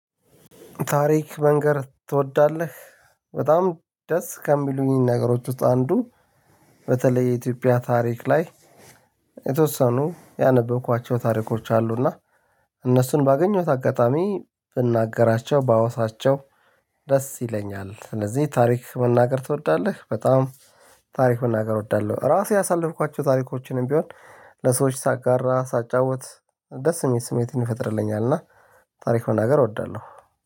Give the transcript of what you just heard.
ታሪክ መንገር ትወዳለህ? በጣም ደስ ከሚሉኝ ነገሮች ውስጥ አንዱ በተለይ የኢትዮጵያ ታሪክ ላይ የተወሰኑ ያነበብኳቸው ታሪኮች አሉ እና እነሱን ባገኘሁት አጋጣሚ ብናገራቸው ባወሳቸው ደስ ይለኛል። ስለዚህ ታሪክ መናገር ትወዳለህ በጣም ታሪክ መናገር እወዳለሁ። ራሴ ያሳለፍኳቸው ታሪኮችንም ቢሆን ለሰዎች ሳጋራ ሳጫውት ደስ የሚል ስሜትን ይፈጥርልኛል እና ታሪክ ሆና ገር እወዳለሁ።